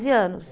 anos.